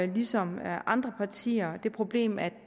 ligesom andre partier det problem at